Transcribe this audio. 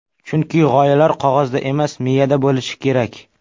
Chunki g‘oyalar qog‘ozda emas, miyada bo‘lishi kerak.